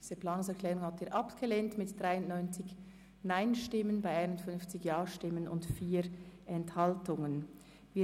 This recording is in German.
Sie haben die Planungserklärung 4 mit 51 Ja- zu 93 Nein-Stimmen bei 4 Enthaltungen abgelehnt.